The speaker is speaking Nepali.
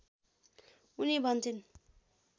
उनी भन्छिन्